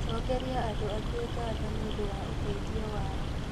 Cokeria andũ angĩ ngatho nĩũndũ wa ũteithio wao